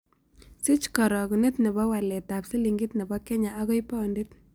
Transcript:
Siich karogunet ne po waletap silingit ne po kenya agoi paunit